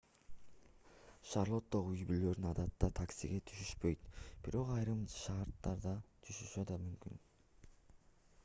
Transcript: шарлоттогу үй-бүлөлөр адатта таксиге түшүшпөйт бирок айрым шарттарда түшүшү да мүмкүн